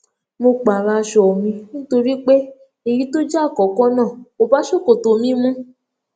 mo pààrọ aṣọ mi nítorí pé èyí tó jẹ àkókó náà kò bá ṣòkòtò mi mu